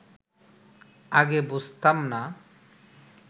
আগে বুঝতাম না